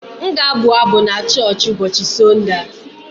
M ga-abụ abụ n'choochi ụbọọchị Sọnde a.